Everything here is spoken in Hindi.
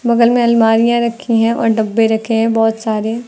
बगल में अलमारियां रखी हैं और डब्बे रखे हैं बहोत सारे।